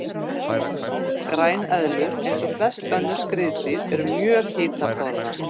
Græneðlur, eins og flest önnur skriðdýr, eru mjög hitaþolnar.